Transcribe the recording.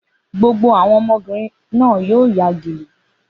Gbogbo àwọn ọmọbìnrin náà yóò ya gèlè.